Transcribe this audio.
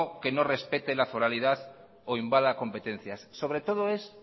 que no respete la foralidad o invada competencias sobre todo es